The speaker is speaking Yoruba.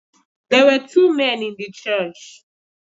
There were two men in the church